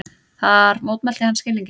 Þar mótmælti hann skilningi